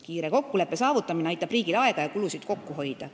Kiire kokkuleppe saavutamine aitab riigil aega ja kulusid kokku hoida.